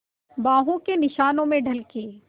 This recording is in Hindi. बाहों के निशानों में ढल के